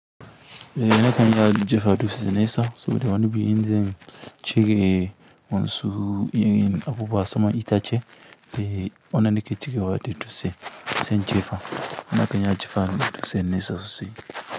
Eh na kanyi jefa dutse nesa saboda wani bi inzan cire wan su irin abubuwa saman itace, eh wanda nake cirewa da dutse, sai injefa. Na kan iya jefa na dutse nesa sosai.